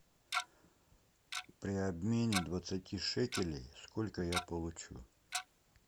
при обмене двадцати шекелей сколько я получу